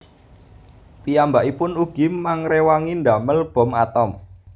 Piyambakipun ugi mangréwangi ndamel bom atom